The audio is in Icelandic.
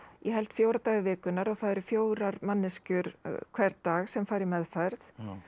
ég held fjóra daga vikunnar og það eru fjórar manneskjur hvern dag sem fara í meðferð